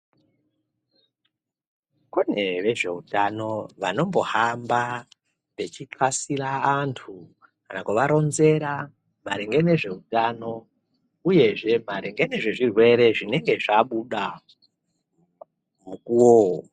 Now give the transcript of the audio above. Kune vezveutano vano mbohamba vechixasira vantu kana kuvaronzera maringe nezveutano uyezve maringe ngezvezvirwere zvinenge zvabuda mukuwo.